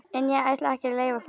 En ég ætla ekki að leyfa það.